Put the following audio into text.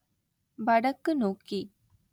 வடக்கு நோக்கி